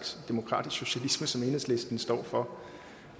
tak for